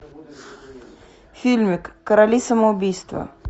фильмик короли самоубийства